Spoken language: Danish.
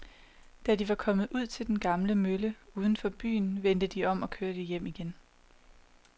Da de var kommet ud til den gamle mølle uden for byen, vendte de om og kørte hjem igen.